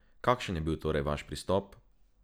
Kakšen je bil torej vaš pristop?